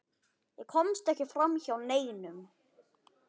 Ég komst ekki framhjá neinum.